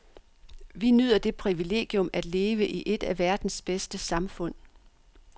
Vi nyder det privilegium at leve i et af verdens bedste samfund.